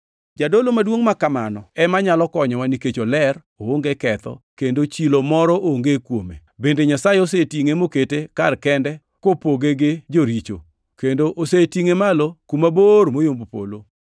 Jadolo maduongʼ ma kamano ema nyalo konyowa nikech oler, oonge ketho, kendo chilo moro onge kuome. Bende Nyasaye osetingʼe mokete kar kende kopoge gi joricho, kendo osetingʼe malo kuma bor moyombo polo.